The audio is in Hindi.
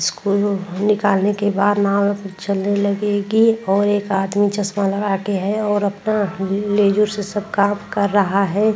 इसको निकालने के बाद नाव चलने लगेगी और एक आदमी चश्मा लगा के है और अपना लेज़ूर से सब काम कर रहा है।